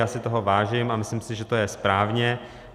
Já si toho vážím a myslím si, že to je správně.